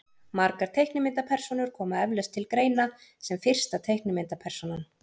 margar teiknimyndapersónur koma eflaust til greina sem fyrsta teiknimyndapersónan